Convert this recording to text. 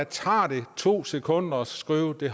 tager det to sekunder at skrive at det